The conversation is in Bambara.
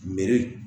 Meri